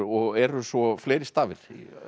eru svo fleiri stafir